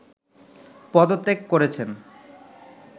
পদত্যাগ করেছেন